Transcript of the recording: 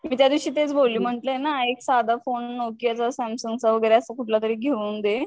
मी त्या दिवशी तेच बोलली म्हंटलये ना फोन, नोकियाचा सॅमसंग चा वगैरे असा कुठला तरी घेऊन दे.